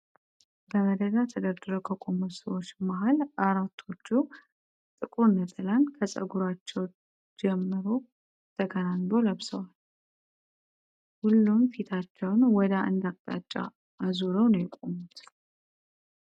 በመደዳ ተደርድረው ከቆሙት ሰዎች መሃል አራቶቹ ጥቁር ነጠላን ከጸጉራቸው ጀርሞ ተከናንበው ለብሰዋል። ሁሉም ፊታቸውን ወደ አንድ አቅጣጫ አዙረው ነው የቆሙት።